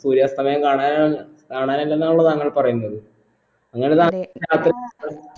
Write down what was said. സൂര്യാസ്തമയം കാണാനാണ് കാണാനല്ലെന്നാണല്ലോ താങ്കൾ പറയുന്നത് അങ്ങനെ